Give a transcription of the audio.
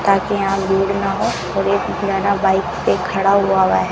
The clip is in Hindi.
ताकि यहां भीड़ न हो और एक बाइक पे खड़ा हुआ हुआ है।